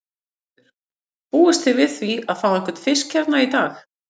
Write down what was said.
Ingveldur: Búist þið við því að fá einhvern fisk hérna í dag?